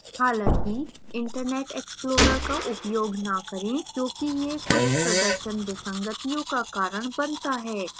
हालांकि internet explorer का उपयोग न करें क्योंकि यह कुछ प्रदर्शन विसंगतियों का कारण बनता है